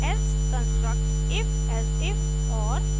else construct ifelsif और